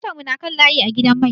Motar mu na kan layi a gidan mai.